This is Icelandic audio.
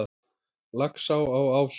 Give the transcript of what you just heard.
Laxá á Ásum